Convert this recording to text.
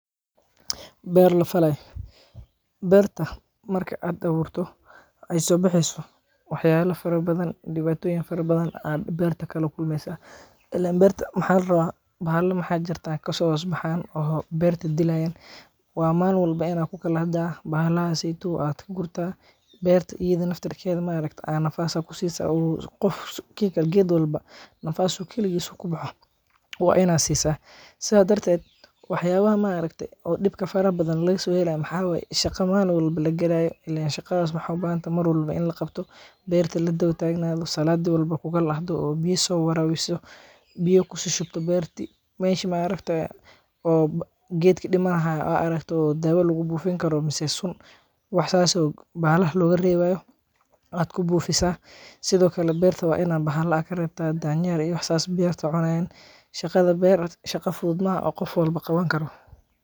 Beer la falay, bertaa marki aad aburto ee so baxeyso wax yala fara badan diwatoyiin fara badan aad berta ka kulmeysaa, ilen berta maxaa la rawa bahala maxaa jirtaa kaso hosbaxan oo berta dilayan, waa malin walbo in aad ku kalahda bahalaha seytow aad ka gurtaa, berta ida nafteeda ma aragtaye aad nafas ku sisa, geed walbo nafas u kaligis u kubaxo waa in aad si saa, sidas darteed wax yalaha ma aragte dibka faraha badan maxa waye shaqa malin walbo lagalayo, ilen shaadas wexee u bahantahay mar walbo in laqabto, berta la dawa tagnadho, saladi walbo ku kalahdo biya so warawiso , biyo kushushubto berti, oo geedki dimani hayo aad aragto dawa lagu bufin karo mase sun wax sas oo bahalah loga rawayo aad ku bufisa, sithokale berta waa in aad karebta danyerka iyo wax sas oo berta cunayan, shaqada beer shaaqa fuduud maaha oo qof walba qawan karo.